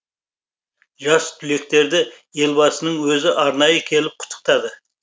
жас түлектерді елбасының өзі арнайы келіп құттықтады